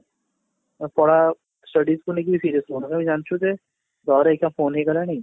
ପଢା studies କୁ ନେଇକି serious ନୁହଁ ଆମେ ଜାଣିଛୁ ଯେ ଘରେ ଏକା phone ହେଇଗଲାଣି